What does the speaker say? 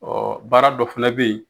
Ɔɔ baara dɔ fɛnɛ be yen